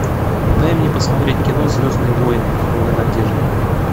дай мне посмотреть кино звездные войны новая надежда